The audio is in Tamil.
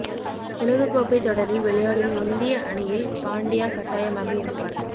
உலகக்கோப்பை தொடரில் விளையாடும் இந்திய அணியில் பாண்டியா கட்டாயமாக இருப்பார்